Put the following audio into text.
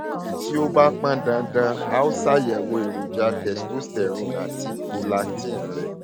tí ó tí ó bá pọn dandan a ó ṣàyẹwò èròjà testosterone àti prolactin rẹ